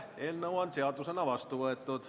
Eelnõu on seadusena vastu võetud.